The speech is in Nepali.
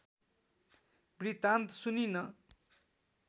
वृत्तान्त सुनिन्